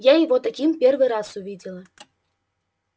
я его таким первый раз увидела